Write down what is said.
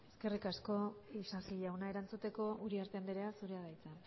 eskerrik asko isasi jauna erantzuteko uriarte andrea zurea da hitza